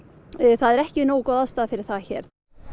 það er ekki nógu góð aðstaða fyrir það hér